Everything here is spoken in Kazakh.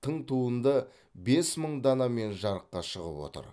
тың туынды бес мың данамен жарыққа шығып отыр